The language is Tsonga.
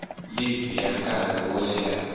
livhi ya nkarhi wo leha